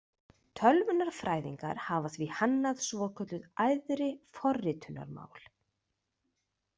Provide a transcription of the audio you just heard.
Tölvunarfræðingar hafa því hannað svokölluð æðri forritunarmál.